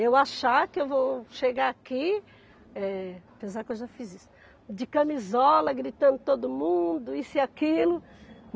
Eu achar que eu vou chegar aqui, eh, apesar que eu já fiz isso, de camisola, gritando todo mundo, isso e aquilo.